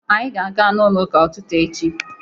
Anyị ga-aga n'ụlọ ụka ụtụtụ echi.